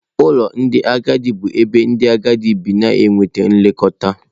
Ụlọ ndị agadi bụ ebe ndị agadi bi na-enweta nlekọta.